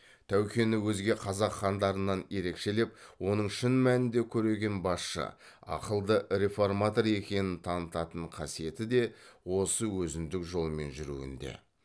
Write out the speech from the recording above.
тәукені өзге қазақ хандарынан ерекшелеп оның шын мәнінде көреген басшы ақылды реформатор екенін танытанын қасиеті де осы өзіндік жолмен жүруінде